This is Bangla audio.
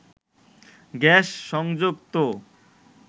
গ্যাস সংযোগ তো